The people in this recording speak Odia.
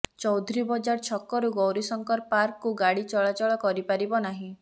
ଚୌଧୁରୀ ବଜାର ଛକରୁ ଗୌରୀଶଙ୍କର ପାର୍କକୁ ଗାଡ଼ି ଚଳାଚଳ କରିପାରିବ ନାହିଁ